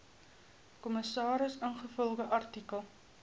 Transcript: kommissaris ingevolge artikel